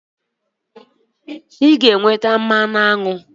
M ga-enweta mmanụ aṅụ na aṅụ